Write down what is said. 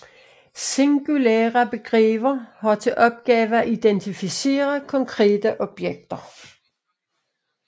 Singulære begreber har til opgave at identificere konkrete objekter